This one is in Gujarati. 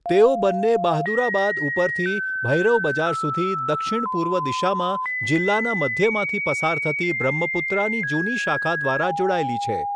તેઓ બંને બહાદુરાબાદ ઉપરથી ભૈરવ બજાર સુધી દક્ષિણ પૂર્વ દિશામાં જિલ્લાના મધ્યમાંથી પસાર થતી બ્રહ્મપુત્રાની જૂની શાખા દ્વારા જોડાયેલી છે.